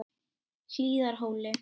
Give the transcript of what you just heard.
Hlíðarhóli